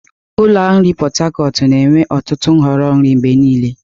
Ụlọ ahịa nri Pot Tarcot ga-enwe ọtụtụ nhọrọ nri mgbe niile.